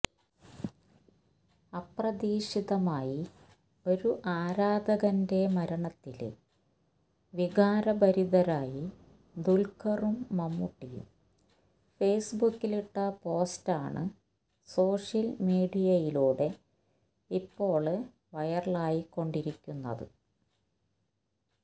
അപ്രതീക്ഷിതമായി ഒരു ആരാധകരന്റെ മരണത്തില് വികാരഭരിതരായി ദുല്ഖറും മമ്മൂട്ടിയും ഫേസ്ബുക്കിലിട്ട പോസ്റ്റാണ് സോഷ്യല് മീഡിയയിലൂടെ ഇപ്പോള് വൈറലായികൊണ്ടിരിക്കുന്നത്